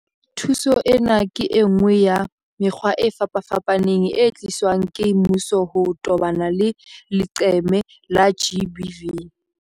Thuso ena ke enngwe ya mekgwa e fapafapaneng e tliswang ke mmuso ho tobana le leqeme la GBV.